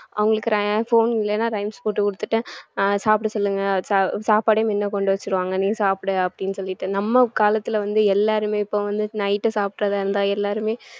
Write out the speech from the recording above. அவங்களுக்கு rhy~ phone இல்லைன்னா rhymes போட்டு கொடுத்துட்டு ஆஹ் சாப்பிட சொல்லுங்க சாப்பாடையும் முன்ன கொண்டு வச்சிருவாங்க நீ சாப்பிடு அப்படின்னு சொல்லிட்டு நம்ம காலத்துல வந்து எல்லாருமே இப்போ வந்~ night உ சாப்பிடுறதா இருந்தா எல்லாருமே